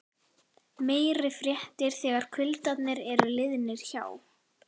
Meiri fréttir þegar kuldarnir eru liðnir hjá.